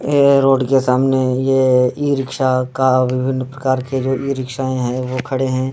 ये रोड के सामने ये इ-रिक्शा का विभिन्न प्रकार के ये जो इ-रिक्शायें हैं वो खड़े हैं।